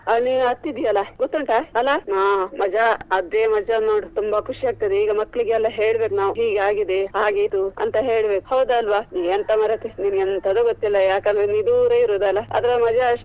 ಅಲ್ಲಿ ನೀನು ಹತ್ತಿದೆಯಲ್ಲ ಗೊತ್ತುಂಟಾ ಅಲ್ಲಾ ಅ ಮಜಾ ಅದೇ ನೋಡು ತುಂಬಾ ಖುಷಿ ಆಗ್ತದೆ ಈಗ ಮಕ್ಳಿಗೆ ಎಲ್ಲಾ ಹೇಳ್ಬೇಕು ನಾವು ಹೀಗೆ ಆಗಿದೆ ಆಗ ಇದು ಅಂತ ಹೇಳ್ಬೇಕು ಹೌದಾ ಅಲ್ವಾ ನೀ ಎಂತ ಮಾರೇತಿ ನಿನಗೆಂತದು ಗೊತ್ತಿಲ್ಲ ಯಾಕಂದ್ರೆ ನೀನು ದೂರ ಇರುದಲ್ಲ ಅದರ ಮಜಾ ಅಷ್ಟು.